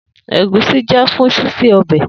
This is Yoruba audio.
Egusi jẹ fun ṣiṣe ọbẹ.